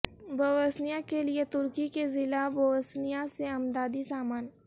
Bosnia کے لئے ترکی کے ضلع بوسنیا سے امدادی سامان